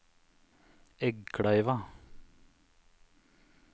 Eggkleiva